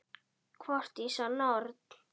Hvort ég sé norn.